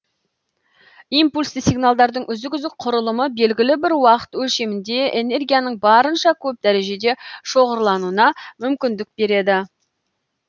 импульсті сигналдардың үзік үзік құрылымы белгілі бір уақыт өлшемінде энергияның барынша көп дәрежеде шоғырлануына мүмкіндік береді